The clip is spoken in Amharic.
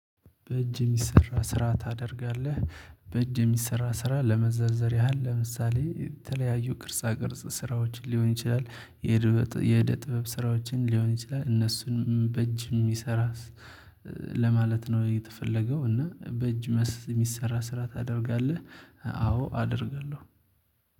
በእጅ የሚሰራ ስራ ታደርጋለህ በእጅ የሚሰራ ስራ ለመዘርዘር ያህል ለምሳሌ የተለያዩ ቅርጻ ቅርጽ ስራዎችን ሊሆን ይችላል የህደ የህደ ጥበብ ስራዎችን ሊሆን ይችላል እነሱንም በእጅ የሚሰራ። ለማለት ነው የተፈለገው እና በእጅ የሚሰራ ስራ ታደርጋለህ አዎ አደርጋለሁ።